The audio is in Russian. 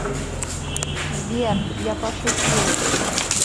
сбер я пошутил